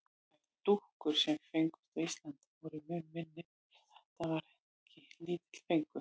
Þær dúkkur, sem fengust á Íslandi, voru mun minni svo þetta var ekki lítill fengur.